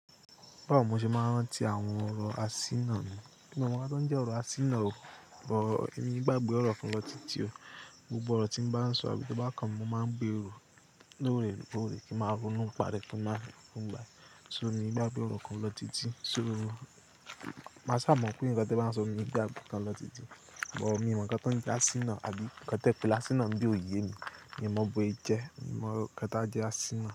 Báwo mo ṣe máa ń rántí àwọn ọ̀rọ̀ asínà? Èmi ọ mọ ikan to n jẹ́ ọ̀rọ̀ asínà ó, boo, èmi gbàgbé ọ̀rọ̀ kan lọ títí ó. Gbogbo ọ̀rọ̀ tí mo bá ń sọ àbí tó bá kàn án, mo máa ń gbé rọ̀ lóòrè lóòrè kí ń máa ronúpa rẹ̀ kí n máa rí i fún ìgbà. So ni ìgbá to rọ̀ kan lọ títí. So ni, má sá mọ̀ pé nǹkan tí ẹ bá ń sọ ni ì gbàgbé tán lọ títí. Ò ó, èmi mọ̀ nǹkan tó ń jẹ́ asínà àbí nǹkan tó pè láti asínà ń bí òye mi. Èmi mọ̀ bó ẹ jẹ́, èmi mọ̀ kí ẹ tá jẹ́ asínà.